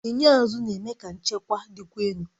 Enyo azụ na-eme ka nchekwa dịkwa elu